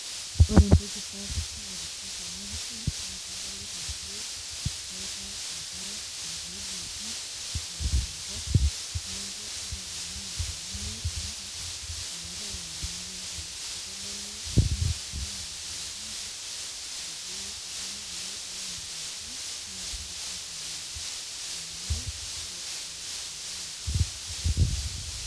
Ore entoki sapuk naitishp tena pisha naa kadolita ajo keetae enkare natuuduoki eimu enkop neeku ata tenaa olameyu inakop meetae enyamali enkare, keitodolu ina ajo iltungana kulo ounito endaa naa kegira aitumiya ena are aitobiru endaa nainosita.